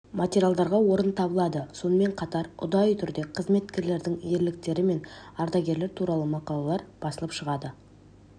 материалдарға орын табылады сонымен қатар ұдайы түрде қызметкерлердің ерліктері мен ардагерлер туралы мақалалар басылып шығады